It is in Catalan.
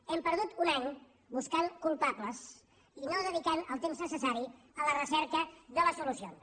hem perdut un any buscant culpables i no dedicant el temps necessari a la recerca de les solucions